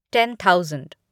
ten thousand